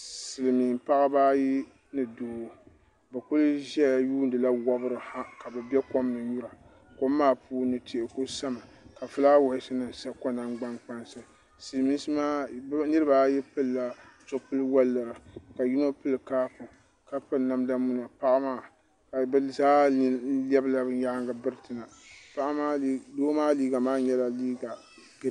silmiin paɣaba ayi ni doo bi kuli ʒɛya yuundila wɔbiri ha ka bi bɛ kom ni nyura kom maa puuni tihi ku sami ka fulaawaasi nim sa ko nagbani kpansi silmiinsi maa niraba ayi pilila zipili woliɣa ka yino pili kaapu ka piri namda muna paɣa maa ka bi zaa lɛbigila bi nyaangi biriti na doo maa liiga maa nyɛla